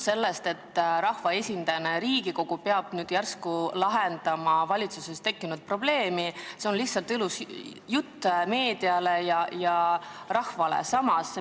See, et rahvaesindusena peab Riigikogu nüüd järsku lahendama valitsuses tekkinud probleemi, on lihtsalt ilus jutt meediale ja rahvale.